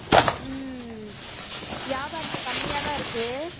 உம் வியாபாரம் இப்போ கம்மியா தான் இருக்கு.